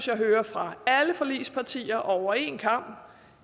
jeg hører fra alle forligspartier over en kam